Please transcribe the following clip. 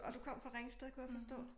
Og du kom fra Ringsted kunne jeg forstå?